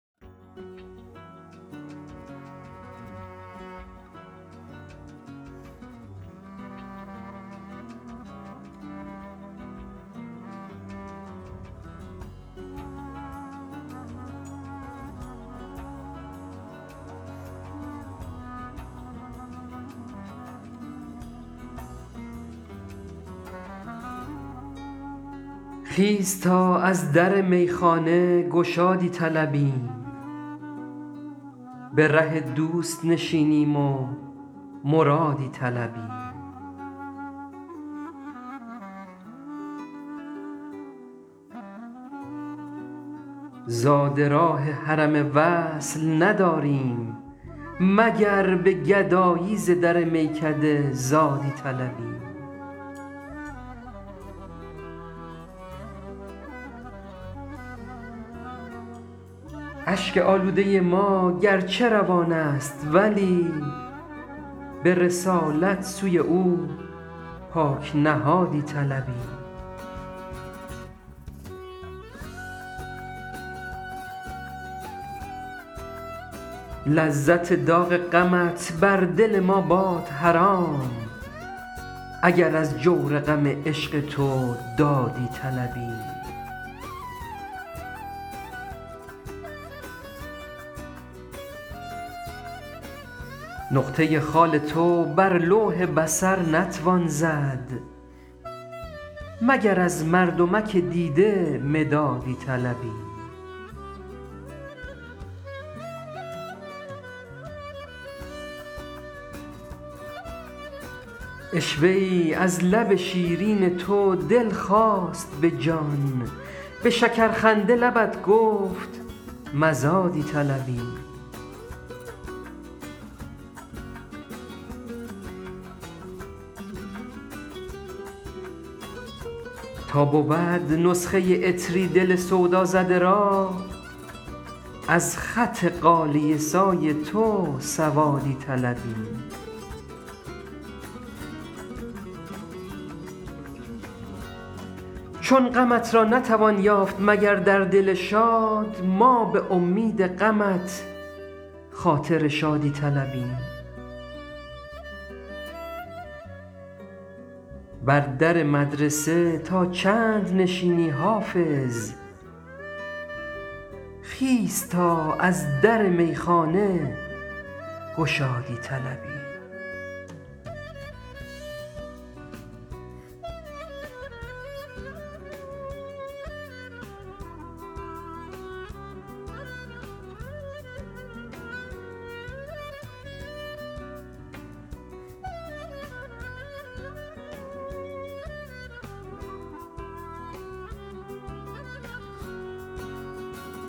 خیز تا از در میخانه گشادی طلبیم به ره دوست نشینیم و مرادی طلبیم زاد راه حرم وصل نداریم مگر به گدایی ز در میکده زادی طلبیم اشک آلوده ما گرچه روان است ولی به رسالت سوی او پاک نهادی طلبیم لذت داغ غمت بر دل ما باد حرام اگر از جور غم عشق تو دادی طلبیم نقطه خال تو بر لوح بصر نتوان زد مگر از مردمک دیده مدادی طلبیم عشوه ای از لب شیرین تو دل خواست به جان به شکرخنده لبت گفت مزادی طلبیم تا بود نسخه عطری دل سودازده را از خط غالیه سای تو سوادی طلبیم چون غمت را نتوان یافت مگر در دل شاد ما به امید غمت خاطر شادی طلبیم بر در مدرسه تا چند نشینی حافظ خیز تا از در میخانه گشادی طلبیم